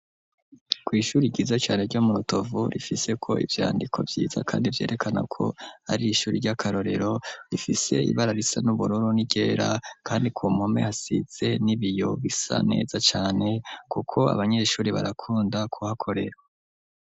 kw'ishure ryiza cane ryo mu rutovu rifiseko ivyandiko vyiza kandi vyerekana ko ari ishuri ry'akarorero, rifise ibara risa n'ubururu n'iryera kandi ku mpome hasize n'ibiyo bisa neza cane kuko abanyeshure barakunda kuhakorera.